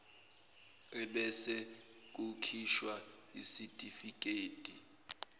ebese kukhishwa isitifikedi